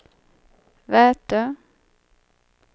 Vätö